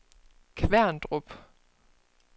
Kværndrup